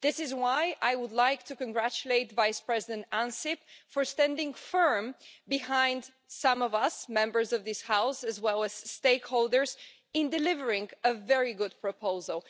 This is why I would like to congratulate Vice-President Ansip for standing firm behind some of us Members of this House, as well as stakeholders, in delivering a very good proposal.